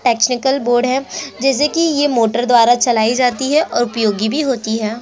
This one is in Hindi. टेक्निकल बोर्ड हैं जैसे कि ये मोटर द्वारा चलाई जाती है और उपयोगी भी होती है।